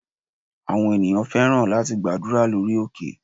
Àwọn ènìyàn fẹ́ràn láti gbàdúrà lórí òkè.